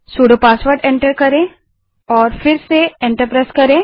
sudo password को enter करें और फिर से एंटर दबायें